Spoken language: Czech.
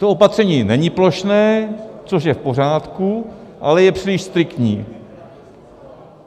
To opatření není plošné, což je v pořádku, ale je příliš striktní.